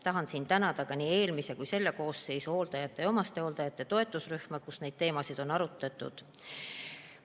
Tahan siin tänada nii eelmise kui ka selle koosseisu omastehooldajate ja hooldajate toetusrühma, kus neid teemasid on arutatud.